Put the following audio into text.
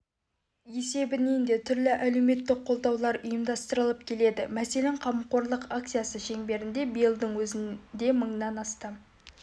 есебінен де түрлі әлеуметтік қолдаулар ұйымдастырылып келеді мәселен қамқорлық акциясы шеңберінде биылдың өзінде мыңнан астам